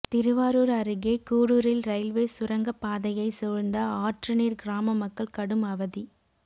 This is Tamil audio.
திருவாரூர் அருகே கூடூரில் ரயில்வே சுரங்கப்பாதையை சூழ்ந்த ஆற்றுநீர் கிராம மக்கள் கடும் அவதி